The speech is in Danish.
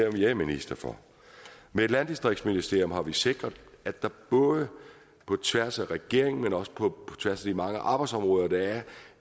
jeg er minister for med et landdistriktsministerium har vi sikret at der både på tværs af regeringen men også på tværs af de mange arbejdsområder der er